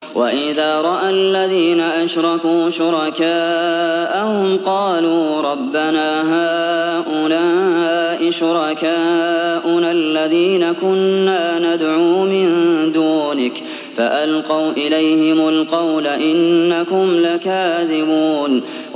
وَإِذَا رَأَى الَّذِينَ أَشْرَكُوا شُرَكَاءَهُمْ قَالُوا رَبَّنَا هَٰؤُلَاءِ شُرَكَاؤُنَا الَّذِينَ كُنَّا نَدْعُو مِن دُونِكَ ۖ فَأَلْقَوْا إِلَيْهِمُ الْقَوْلَ إِنَّكُمْ لَكَاذِبُونَ